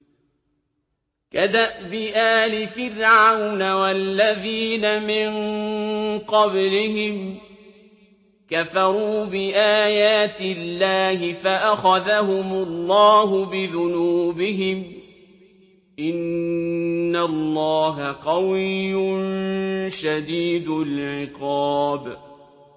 كَدَأْبِ آلِ فِرْعَوْنَ ۙ وَالَّذِينَ مِن قَبْلِهِمْ ۚ كَفَرُوا بِآيَاتِ اللَّهِ فَأَخَذَهُمُ اللَّهُ بِذُنُوبِهِمْ ۗ إِنَّ اللَّهَ قَوِيٌّ شَدِيدُ الْعِقَابِ